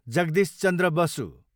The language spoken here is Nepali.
जगदीश चन्द्र बसु